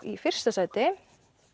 í fyrsta sæti